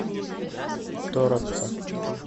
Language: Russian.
торопца